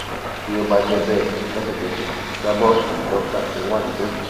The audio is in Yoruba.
ti o ba jẹ bẹ lẹsẹkẹsẹ jabo si dokita ti o wa nitosi